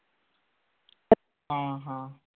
हां हां